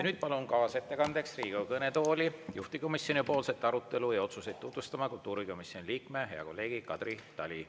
Nüüd palun kaasettekandeks Riigikogu kõnetooli juhtivkomisjoni arutelu ja otsuseid tutvustama kultuurikomisjoni liikme, hea kolleegi Kadri Tali.